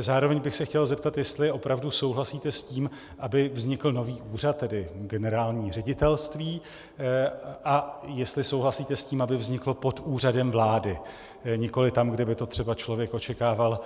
Zároveň bych se chtěl zeptat, jestli opravdu souhlasíte s tím, aby vznikl nový úřad, tedy generální ředitelství, a jestli souhlasíte s tím, aby vznikl pod Úřadem vlády, nikoli tam, kde by to třeba člověk očekával